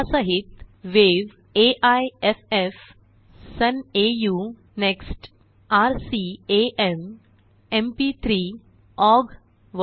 यासहीत वेव्ह AIFF Sun AU NeXT RCAM institute de recherche et coordination acoustic music MP3 MPEG I layer 3 export requires separate encoder